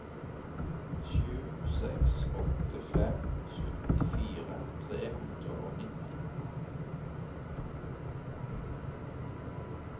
sju seks åtte fem syttifire tre hundre og nitti